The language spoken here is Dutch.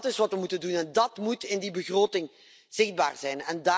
Dat is wat we moeten doen en dat moet in die begroting zichtbaar zijn.